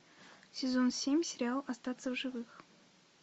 сезон семь сериал остаться в живых